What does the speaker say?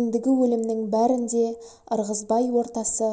ендігі өлімнің бәрін де ырғызбай ортасы